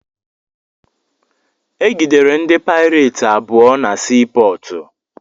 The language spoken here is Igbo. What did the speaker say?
Egidere ndị paireti abụọ na sii pọọtụ.